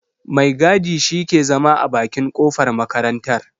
Mai gadi shi ke zama a bakin kofar makarartar.